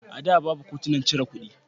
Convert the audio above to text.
A da, babu katunan cire kuɗi.